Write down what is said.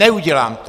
Neudělám to.